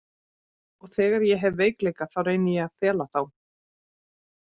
Og þegar ég hef veikleika þá reyni ég að fela þá.